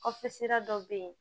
Kɔfɛ sira dɔ bɛ yen